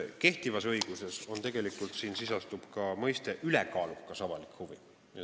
Kehtivas õiguses sisaldub siin mõiste "ülekaalukas avalik huvi".